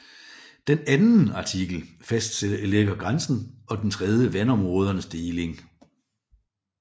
Den anden artikel fastlægger grænsen og den tredje vandområdernes deling